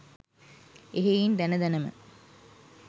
එහෙයින් දැන දැන ම